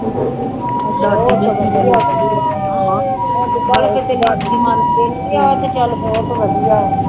ਬਹੁਤ ਵਧੀਆ ਵਧੀਆ, ਅੱਜ ਕੱਲ੍ਹ ਤਾਂ ਕਿਤੇ ਜਲਦੀ ਮੰਨਦੇ ਨਹੀਂ ਆਹ ਤਾਂ ਚੱਲ ਬਹੁਤ ਵਧੀਆ ਵਾ